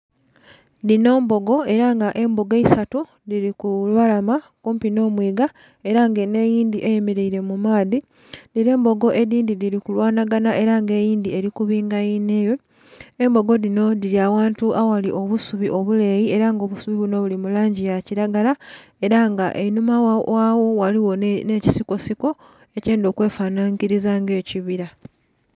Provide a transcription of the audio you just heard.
Dhino mbogo era nga embogo eisatu dhiri ku lubalama kumpi n'omwiga, era nga eno eyindhi eyemeleire mu maadhi. Dhino embogo edhindhi dhiri kulwanhaganha era nga eyindhi eri kubinga yinhayo. Embogo dhino dhiri awantu aghali obusubi obuleyi era nga obusubi buno buli mu langi ya kiragala, era nga einhuma ghagho ghaligho n'ekisikosiko ekyendha okwefanhanhiriza nga ekibira.